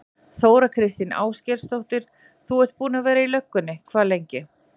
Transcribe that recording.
Þóra Kristín Ásgeirsdóttir: Þú ert búinn að vera í löggunni hvað lengi?